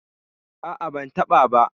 A'a, ban taɓa ba.